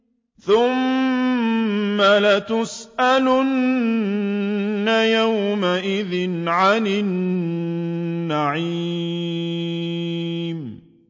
ثُمَّ لَتُسْأَلُنَّ يَوْمَئِذٍ عَنِ النَّعِيمِ